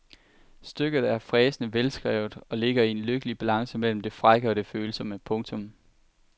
Stykket er fræsende velskrevet og ligger i en lykkelig balance mellem det frække og det følsomme. punktum